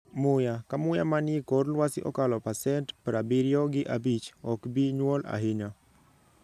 Muya: ka muya manie kor lwasi okalo pasent prabiriyo gi abich ok bi nyuol ahinya